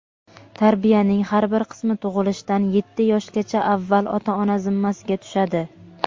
Tarbiyaning har bir qismi tug‘ilishdan yetti yoshgacha avval ota-ona zimmasiga tushadi.